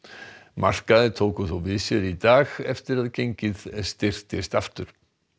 markaðir tóku þó við sér í dag eftir að gengið styrktist aftur